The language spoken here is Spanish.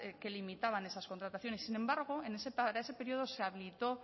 que limitaban esas contrataciones sin embargo para ese periodo se habilitó